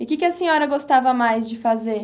E o que que a senhora gostava mais de fazer?